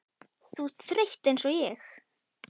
Þú ert þreytt einsog ég.